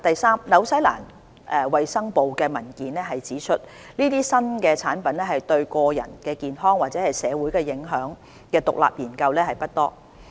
三新西蘭衞生部的文件指出，有關這些新產品對個人健康或社會影響的獨立研究不多。